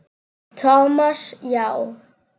Thomas, já.